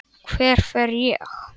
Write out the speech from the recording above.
Hver fer ég?